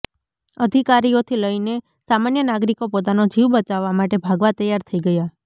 અધિકારીઓથી લઈને સામાન્ય નાગરિકો પોતાનો જીવ બચાવવા માટે ભાગવા તૈયાર થઇ ગયા